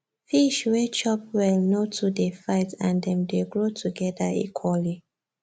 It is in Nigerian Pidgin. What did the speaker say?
fish wey chop well no too dey fight and dem dey grow together equally